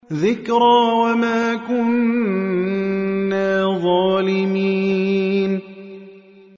ذِكْرَىٰ وَمَا كُنَّا ظَالِمِينَ